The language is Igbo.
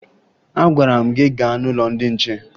Agwara m gị gaa n'ụlọ ndị nche!